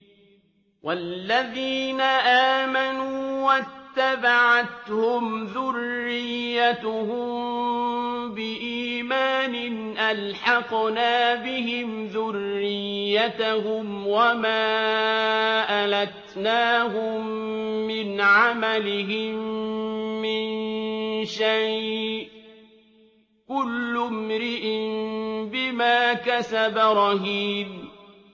وَالَّذِينَ آمَنُوا وَاتَّبَعَتْهُمْ ذُرِّيَّتُهُم بِإِيمَانٍ أَلْحَقْنَا بِهِمْ ذُرِّيَّتَهُمْ وَمَا أَلَتْنَاهُم مِّنْ عَمَلِهِم مِّن شَيْءٍ ۚ كُلُّ امْرِئٍ بِمَا كَسَبَ رَهِينٌ